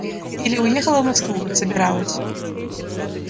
или уехала в москву как собиралась